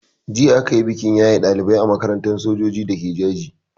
Jiya a kayi bikin yaye ɗalibai a makarantar sojoji dake Jaji.